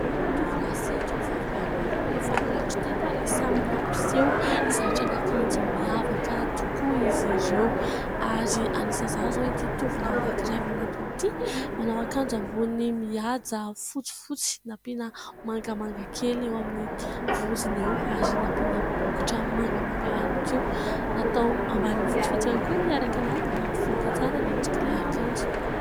Tovolahy sy tovovavy maromaro no efa nilatro teto ary samy nampiseho zaitran'akanjo miavaka tokoa izy ireo. Ary anisan'izany izao ity tovolahy anankiray manatona ity, manao ankanjo ambony mihaja fotsifotsy, nampiana mangamanga kely eo amin'ny voziny eo, ary nampiana bokotra mangamanga ihany koa, natao ambaniny fotsifotsy ihany koa niaraka anazy mba hampivoaka tsara ny endrik'ilay akanjo.